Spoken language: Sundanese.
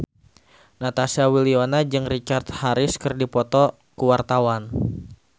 Natasha Wilona jeung Richard Harris keur dipoto ku wartawan